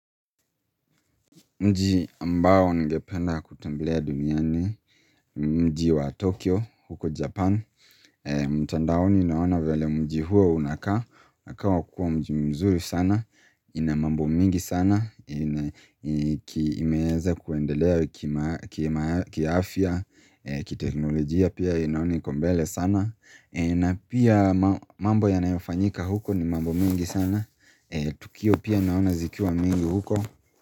Mji ambao ningependa kutembelea duniani ni mji wa Tokyo huko Japan. Mtandaoni naona vile mji huo unakaa. Unakaa kua mji mzuri sana. Ina mambo mingi sana. Imeweza kuendelea kiafia. Kiteknologia pia naona iko mbele sana. Na pia mambo yanayofanyika huko ni mambo mingi sana. Tukio pia naona zikiwa mingi huko.